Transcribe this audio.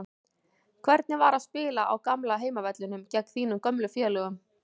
Hvernig var að spila á gamla heimavellinum og gegn þínum gömlu félögum?